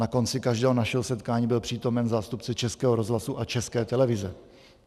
Na konci každého našeho setkání byl přítomen zástupce Českého rozhlasu a České televize.